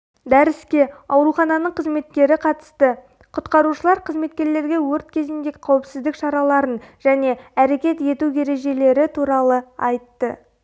дәріске аурухананың қызметкері қатысты құтқарушылар қызметкерлерге өрт кезінде қауіпсіздік шараларын және әрекет ету ережелері туралы айтты